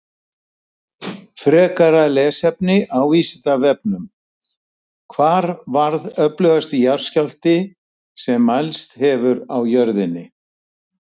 Frekara lesefni á Vísindavefnum: Hvar varð öflugasti jarðskjálfti sem mælst hefur á jörðinni?